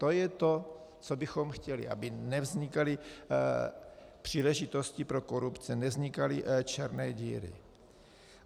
To je to, co bychom chtěli, aby nevznikaly příležitosti pro korupce, nevznikaly černé díry.